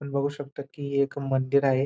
आपण बघू शकता की एक मंदिर आहे.